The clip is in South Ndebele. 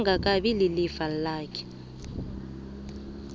angakabi ilifa lakhe